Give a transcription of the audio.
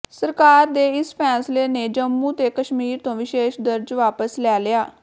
ਸਰਕਾਰ ਦੇ ਇਸ ਫੈਸਲੇ ਨੇ ਜੰਮੂ ਤੇ ਕਸ਼ਮੀਰ ਤੋਂ ਵਿਸ਼ੇਸ਼ ਦਰਜ ਵਾਪਸ ਲੈ ਲਿਆ